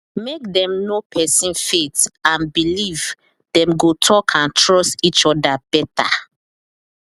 make dem know person faith and believe dem go talk and trust each other better